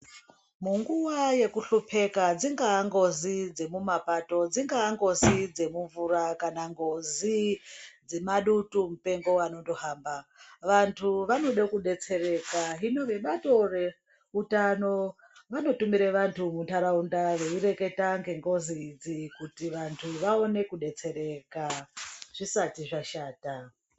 Munguva yekuhlupeka ingava ngozi dzemumapato kana ngozi dzemumvura kana ngozi dzemadutumupengo, vantu vanode kudetsereka .Hino vebato reutano vanotumire vantu mundaraunda vaireketa ngengozi idzi kuti vantu